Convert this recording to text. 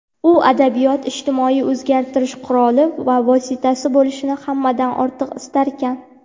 u adabiyot ijtimoiy o‘zgartirish quroli va vositasi bo‘lishini hammadan ortiq istarkan.